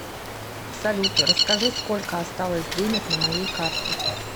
салют расскажи сколько осталось денег на моей карте